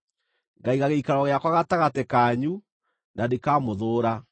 Ngaiga gĩikaro gĩakwa gatagatĩ kanyu, na ndikamũthũũra.